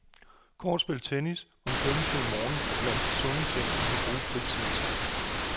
Kortspil, tennis og en svømmetur om morgenen er blandt de sunde ting, man kan bruge fritiden til.